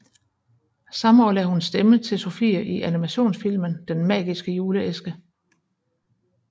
Samme år lagde hun stemme til Sofie i animationsfilmen Den magiske juleæske